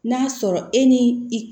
N'a sɔrɔ e ni i